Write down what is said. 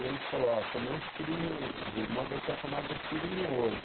E ele falou, ó, tomei um tiro no... O irmão dele tinha tomado um tiro no olho.